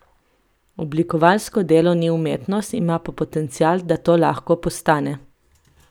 Oblikovalsko delo ni umetnost, ima pa potencial, da to lahko postane.